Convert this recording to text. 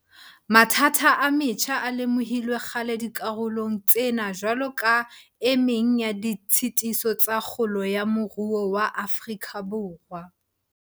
Mathata a metjha a lemohilwe kgale dikarolong tsena jwalo ka e meng ya ditshitiso tsa kgolo ya moruo wa Afrika Borwa.